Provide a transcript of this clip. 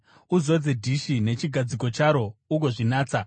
Uzodze dhishi nechigadziko charo ugozvinatsa.